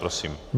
Prosím.